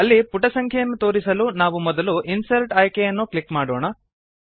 ಅಲ್ಲಿ ಪುಟ ಸಂಖ್ಯೆಯನ್ನು ತೋರಿಸಲು ನಾವು ಮೊದಲು ಇನ್ಸರ್ಟ್ ಆಯ್ಕೆಯನ್ನು ಕ್ಲಿಕ್ ಮಾಡೋಣ